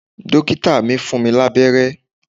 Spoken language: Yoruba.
Dókítà mi fún mi lábẹ́rẹ́